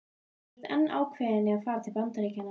Þú ert enn ákveðin í að fara til Bandaríkjanna?